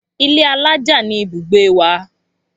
Ilé alájà ni ibùgbé wa